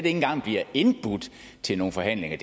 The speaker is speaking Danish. engang bliver indbudt til nogle forhandlinger